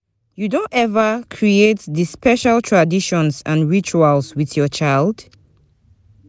You don ever create di special traditions and rituals with your child?